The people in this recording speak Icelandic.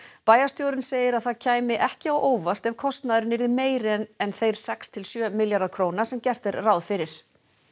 bæjarstjórinn segir að það kæmi ekki á óvart ef kostnaðurinn yrði meiri en en þeir sex til sjö milljarðar króna sem gert er ráð fyrir